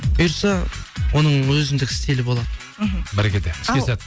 бұйыртса оның өзіндік стилі болады іхі бәрекелді іске сәт